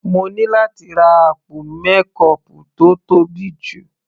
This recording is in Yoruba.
Mo ní láti ra àpò mékọọpù tó tóbi jù.